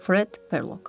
Fred Perlok.